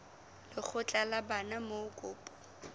lekgotla la bana moo kopo